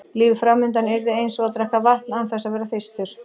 Lífið fram undan yrði eins og að drekka vatn án þess að vera þyrstur.